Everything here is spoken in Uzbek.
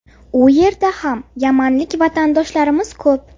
U yerda ham yamanlik vatandoshlarimiz ko‘p.